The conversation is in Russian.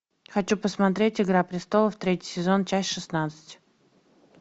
хочу посмотреть игра престолов третий сезон часть шестнадцать